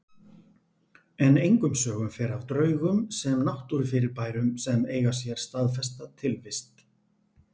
En engum sögum fer af draugum sem náttúrufyrirbærum sem eiga sér staðfesta tilvist.